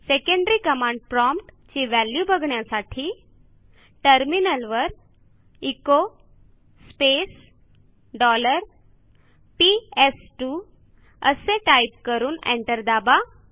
secondary command prompt ची value बघण्यासाठी टर्मिनलवर एचो स्पेस डॉलर पीएस2 असे टाईप करून एंटर दाबा